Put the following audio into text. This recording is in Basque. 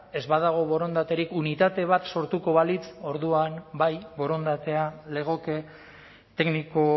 ez badago borondaterik unitate bat sortuko balitz orduan bai borondatea legoke tekniko